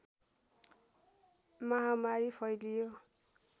महामारी फैलियो